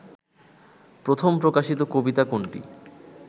প্রথম প্রকাশিত কবিতা কোনটি